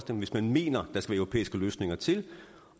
hvis man mener at der skal europæiske løsninger til